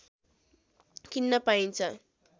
किन्न पाइन्छ